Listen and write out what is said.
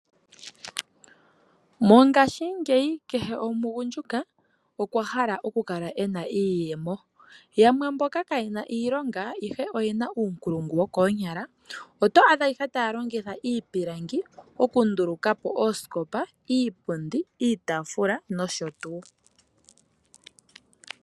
Mongaashingeyi kehe omugundjuka okwa hala oku kala ena iiyemo .Yamwe mboka kaayena iilongo ashike oyena uunkulungu oto adha ihe taa longutha iipilangi oku nduluka po iipundi oshowo iitaafula.